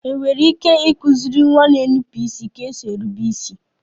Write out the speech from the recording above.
È nwere ike ịkụziri nwa na-énupụ isi ka esi érubé isi?